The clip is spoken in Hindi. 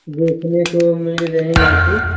देखने के लिए मिल रही यहाँ पे--